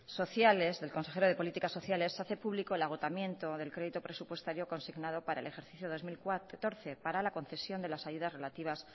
sociales del consejero de políticas sociales hace público el agotamiento del crédito presupuestario consignado para el ejercicio dos mil catorce para la concesión de las ayudas relativas